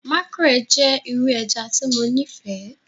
Makrel jẹ iru ẹja ti Mo nifẹ